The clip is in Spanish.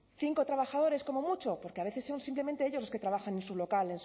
cinco trabajadores como mucho porque a veces son simplemente ellos los que trabajan en su local